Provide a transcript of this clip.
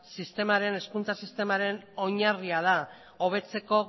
hezkuntza sistemaren oinarri da hobetzeko